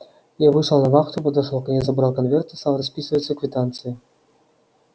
я вышел на вахту подошёл к ней забрал конверты стал расписываться в квитанции